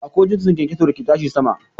Akwai jinsin kyankyaso da ke tashi sama.